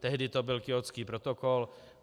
Tehdy to byl Kjótský protokol.